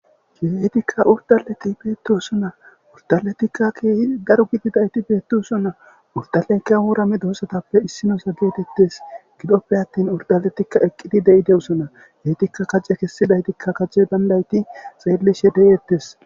Uridaletika bettosona uridaletika kehiddi darro enittika gididayasti uridaletika wora medosa qomotape isso gidope attini eqidi deyidosona